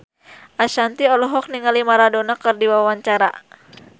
Ashanti olohok ningali Maradona keur diwawancara